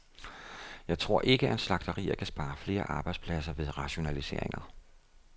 Jeg tror ikke, at slagterier kan spare flere arbejdspladser ved rationaliseringer.